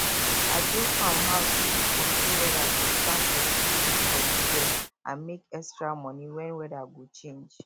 i build farm house wey dey control weather to plant vegetables for di year and make extra money wen weather go change